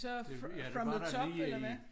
Ja ja den var der lige